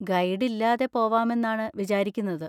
Guide ഇല്ലാതെ പോവാമെന്നാണ് വിചാരിക്കുന്നത്.